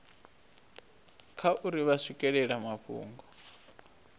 kha uri vha swikelela mafhungo